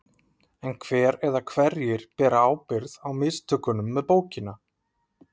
En hver eða hverjir bera ábyrgð á mistökunum með bókina?